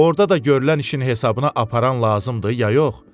Orda da görülən işin hesabına aparan lazımdır ya yox?